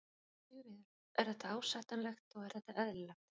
Sigríður: Er þetta ásættanlegt og er þetta eðlilegt?